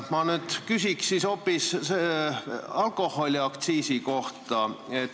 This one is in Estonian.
Ma küsin nüüd hoopis alkoholiaktsiisi kohta.